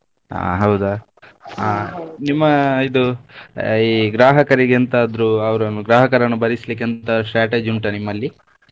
ಹಾ ಹೌದಾ. ಹಾ ನಿಮ್ಮ ಇದು ಈ ಗ್ರಾಹಕರಿಗೆ ಎಂತಾದ್ರು ಅವ್ರನ್ನು ಗ್ರಾಹಕರನ್ನು ಬರಿಸ್ಲಿಕ್ಕೆ ಎಂತ strategy ಉಂಟ ನಿಮ್ಮಲ್ಲಿ?